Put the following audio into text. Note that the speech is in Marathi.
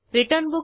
त्या मेथडवर जाऊ